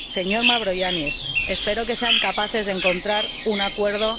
Señor Mavroyiannis, espero que sean capaces de encontrar un acuerdo.